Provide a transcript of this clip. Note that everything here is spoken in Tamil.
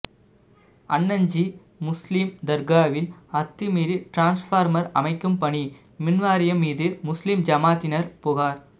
அன்னஞ்சி முஸ்லீம் தர்காவில் அத்துமீறி டிரான்ஸ்பார்மர் அமைக்கும் பணி மின்வாரியம் மீது முஸ்லீம் ஜமாத்தினர் புகார்